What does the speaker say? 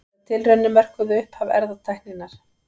Þessar tilraunir mörkuðu upphaf erfðatækninnar.